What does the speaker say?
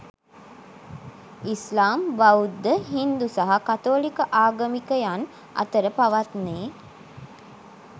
ඉස්ලාම්, බෞද්ධ, හින්දු සහ කතෝලික ආගමිකයන් අතර පවත්නේ